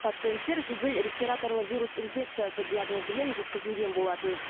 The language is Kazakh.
пациенттер жедел респираторлы вирус инфекциясы диагнозымен жеткізілген болатын